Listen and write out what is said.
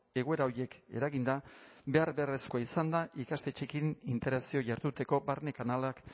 egoera horiek eraginda behar beharrezkoa izan da ikastetxeekin interakzio jarduteko barne kanalak